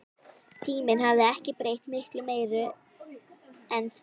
Tíminn hafði ekki breytt miklu meiru en því.